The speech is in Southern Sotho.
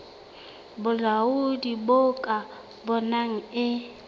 bolaodi bo ka bonang e